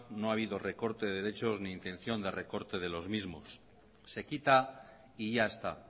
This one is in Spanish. no ha habido recorte de derechos ni intención de recorte de los mismos se quita y ya está